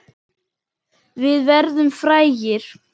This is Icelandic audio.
Við verðum frægir.